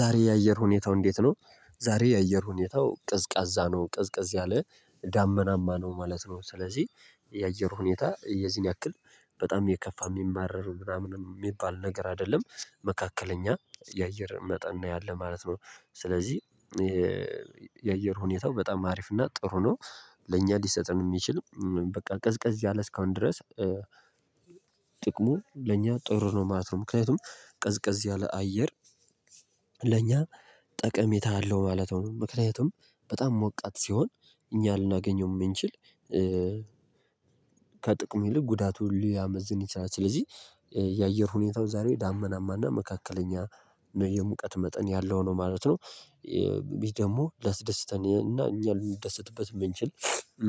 ዛሬ የአየር ሁኔታው እንዴት ነው? ዛሬ የአየር ሁኔታው ቅዝቃዛ ነው ቅዝቅዝ ያለ ዳመናማ ነው ማለት ነው። ስለዚህ የአየር ሁኔታ የዚህን ያክል በጣም የከፋ የሚማረር ምናምን የሚባል ነገር አይደለም። መካከለኛ የአየር መጠን ነው ያለው ማለት ነው። ስለዚህ የአየር ሁኔታው በጣም አሪፍ እና ጥሩ ነው። ለእኛ ሊሰጠን የሚችል በቃ ቅዝቀዝ ያለ እስካሁን ድረስ ጥቅሙ ለኛ ጥሩ ነው ማለት ነው። ምክንያቱም ቀዝቀዝ ያለ አየር ለኛ ጠቀሜታ አለው ማለት ነው። ምክንያቱም በጣም ሞቃት ሲሆን እኛ ልናገኘው የምንችል ከጥቅሙ ይልቅ ጉዳቱን ሊያመዝን ይችላል። ስለዚህ የአየር ሁኔታው ዛሬ ዳመናማና መካከለኛ የሙቀት መጠን ያለው ነው ማለት ነው። ይሄ ደግሞ ሊያስደስተን እና እኛ ልደሰትበት የምንችል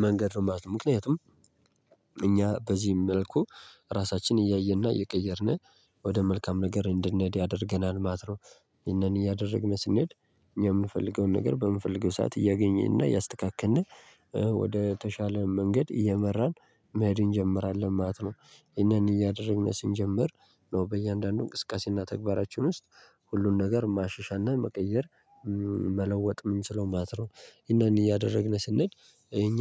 መንገድ ነው ማለት ነው። ምክንያቱም እኛ በዚህ መልኩ ራሳችንን እያየንና እየቀየርነ ወደ መልካም ነገር እንድንሄድ ያደርገናል ማለት ነው። ይህንን እያደረግን ስንሄድ የምንፈልገውን ነገር በምንፈልገው ሰዓት እያገኘን እና እያስተካከልነ ወደ ተሻለ መንገድ እየመራን መሄድ እንጀምራለን ማለት ነው። ይሄንን እያደረግን ስንጀምር ነው በእያንዳንዱ እንቅስቃሴና ተግባራችን ውስጥ ሁሉን ነገር ማሻሻልና መቀየር መለወጥ የምንችለው ማትረው እነኒ ያደረግነ ስንሄድ እኛ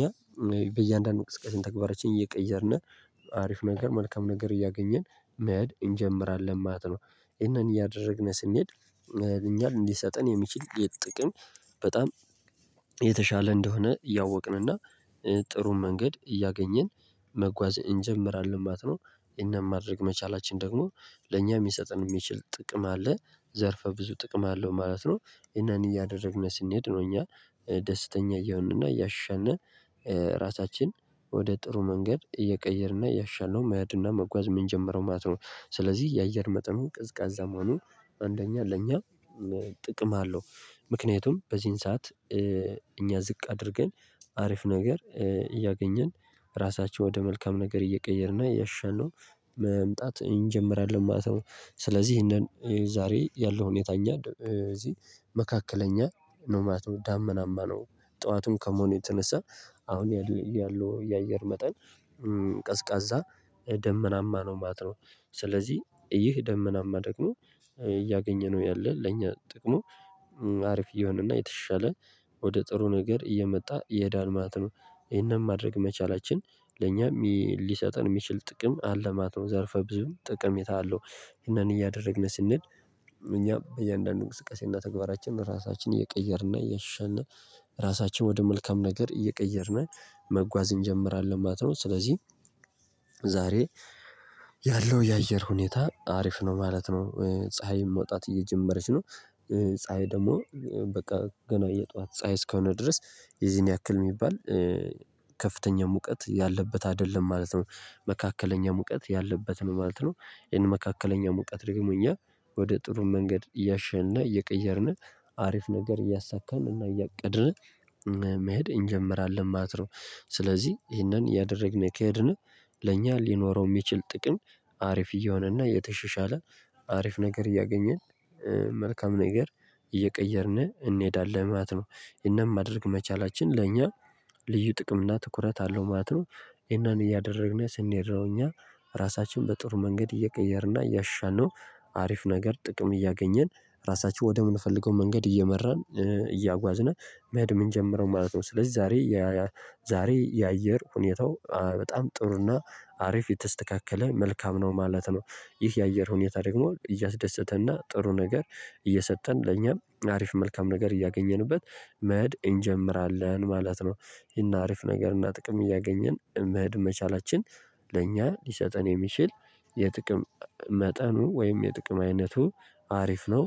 በእያንዳንዱ ንቅስቀሴን ተግባሮችን እየቀየርነ አሪፍ ነገር መልካም ነገር እያገኘን መሄድ እንጀምራለን ማለት ነው። ይሄንን እያደረግነ ስንሄድ መሄድ እኛን ሊሰጠን የሚችል የጥቅም በጣም የተሻለ እንደሆነ እያወቅንና ጥሩን መንገድ እያገኘን መጓዝ እንጀምራለን ማለት ነው። እኛም ማድረግ መቻላችን ደግሞ ለእኛ የሚሰጥን የሚችል ጥቅም አለ ዘርፈ ብዙ ጥቅም አለው ማለት ነው። ይህነን እያደረግነ ስንሄድ ነው እኛ ደስተኛ እየሆንንና እያሻሻልነ ራሳችን ወደ ጥሩ መንገድ እየቀየርንና እያሻሻልነው መሄድና መጓዝ የምንጀምረው ማለት ነው። ስለዚህ የአየር መጠኑ ቀዝቃዛ መሆኑ አንደኛ ለኛ ጥቅም አለው ምክንያቱም በዚህን ሰዓት እኛ ዝቅ አድርገን አሪፍ ነገር እያገኘን ራሳቸው ወደ መልካም ነገር እየቀየርን እና እያሻሻልነው መምጣት እንጀምራለን ማለት ነው። ስለዚህ ይሄንን ዛሬ ያለው ሁኔታ እኛ እዚህ መካከለኛ ነው ማለት ነው ዳመናማ ነው። ጠዋቱን ከመሆኑ የተነሳ አሁን ያለው የአየር መጠን ቀዝቃዛ ደመናማ ነው ማለት ነው። ስለዚህ ይህ ደመናማ ደግሞ እያገኘ ነው ያለን ለኛ ጥቅሙ አሪፍ የሆነና የተሻሻለ ወደ ጥሩ ነገር እየመጣ ይሄዳል ማለት ነው። ይሄንን ማድረግ መቻላችን ለእኛም ሊሰጠን የሚችል ጥቅም አለ ማት ነው ዘርፈ ብዙም ጥቀሜታ አለው። ይሄንን እያደረግን ስንሄድ እኛ በእያንዳንዱ እንቅስቃሴና ተግባራችን ራሳችንን እየቀየርና እያሻሻልነ ራሳችን ወደ መልካም ነገር እየቀየርነ መጓዝ እንጀምራለን ማለት ነው። ስለዚህ ዛሬ ያለው የአየር ሁኔታ አሪፍ ነው ማለት ነው ፀሀይ መውጣት እየጀመረች ነው ፀሀይ ደግሞ በቃ ገና የጧት ፀሀይ እስከሆነ ድረስ የዚህን ያክል የሚባል ከፍተኛ ሙቀት ያለበት አይደለም ማለት ነው። መካከለኛ ሙቀት ያለበት ነው ማለት ነው። ይሄን መካከለኛ ሙቀት ደግሞ እኛ ወደ ጥሩ መንገድ እያሸሻነ እየቀየርነ አሪፍ ነገር እያሳካን እና እያቀድነ መሄድ እንጀምራለን ማለት ነው። ስለዚህ ይህነን እያደረግነ ከሄድነ ለእኛ ሊኖረው የሚችል ጥቅም አሪፍ እየሆነና እየተሸሻለ አሪፍ ነገር እያገኘን መልካም ነገር እየቀየርነ እንሄዳለን ማለት ነው። እናም ማደርግ መቻላችን ለእኛ ልዩ ጥቅም እና ትኩረት አለው ማለት ነው። ይህነን እያደረግን ስንሄድ ነው እኛ ራሳችን በጥሩ መንገድ እየቀየርን እያሻሻልነው አሪፍ ነገር ጥቅም እያገኘን ራሳችን ወደምንፈልገው መንገድ እየመራን እያጓዝነ መሄድ ምጀምረው ማለት ነው። ስለዚህ ዛሬ ዛሬ የአየር ሁኔታው በጣም ጥሩና አሪፍ የተስተካከለ መልካም ነው ማለት ነው። ይህ የአየር ሁኔታ ደግሞ እያስደሰተና ጥሩ ነገር እየሰጠን ለኛም አሪፍ መልካም ነገር እያገኘንበት መሄድ እንጀምራለን ማለት ነው። ይሄን አሪፍ ነገር እና ጥቅም እያገኘን መሄድ መቻላችን ለእኛ ሊሰጠን የሚችል የጥቅም መጠኑ ወይም የጥቅም አይነቱ አሪፍ ነው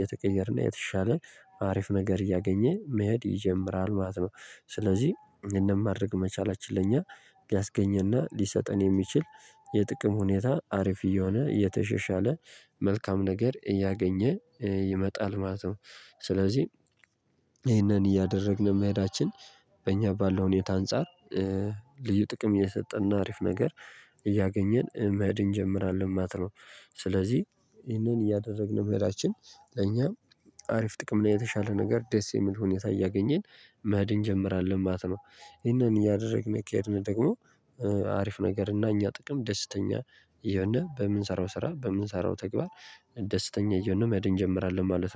የተቀየረና የተሻለ አሪፍ ነገር እያገኘ መሄድ ይጀምራል ማለት ነው። ስለዚህ ይህነን ማድረግ መቻላችን ለእኛ ሊያስገኝና ሊሰጠን የሚችል የጥቅም ሁኔታ አሪፍ እየሆነ እየተሸሻለ መልካም ነገር እያገኘ ይመጣል ማለት ነው። ስለዚህ ይሄንን እያደረግን የመሄዳችን በእኛ ባለው ሁኔታ አንፃር ልዩ ጥቅም የሰጠና አሪፍ ነገር እያገኘን መሄድ እንጀምራለን ማለት ነው። ስለዚህ ይሄንን እያደረግነ መሄዳችን ለእኛ አሪፍ ጥቅምና የተሻለ ነገር ደስ የሚል ሁኔታ እያገኘን መኸድ እንጀምራለን ማለት ነው። ይሄንን እያደረግን የሚካሄድን ደግሞ አሪፍ ነገር እና እኛ ጥቅም ደስተኛ እየሆነ በምንሰራው ስራ በምንሰራው ተግባር ደስተኛ እየሆነ መኸድ እንጀምራለን ማለት ነው